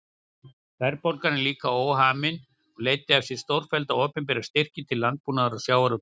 Verðbólgan var líka óhamin og leiddi af sér stórfellda opinbera styrki til landbúnaðar og sjávarútvegs.